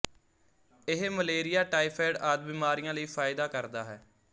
ਇਹ malaria typhoid ਆਦਿ ਬਿਮਾਰੀਆਂ ਲਈ ਫਾਇਦਾ ਕਰਦਾ ਹੈ